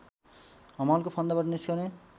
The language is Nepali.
हमालको फन्दाबाट निस्कने